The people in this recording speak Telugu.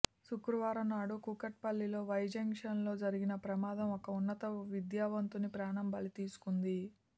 శుక్రవారంనాడు కూకట్పల్లి వై జంక్షన్లో జరిగిన ప్రమాదం ఒక ఉన్నత విద్యావంతుని ప్రాణం బలితీసుకుంది